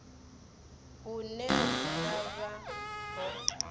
hune hu nga vha ho